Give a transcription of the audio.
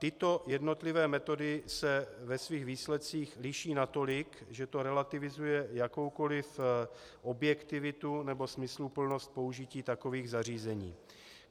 Tyto jednotlivé metody se ve svých výsledcích liší natolik, že to relativizuje jakoukoliv objektivitu nebo smysluplnost použití takových zařízení.